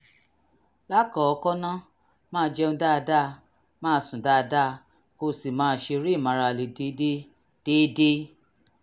lákọ̀ọ́kọ́ ná máa jẹun dáadáa máa sùn dáadáa kó o sì máa ṣeré ìmárale déédé déédé